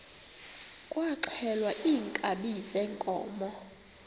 kwaxhelwa iinkabi zeenkomo